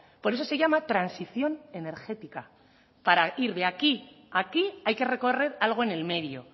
por eso se llama transición energética para ir de aquí a aquí hay que recorrer algo en el medio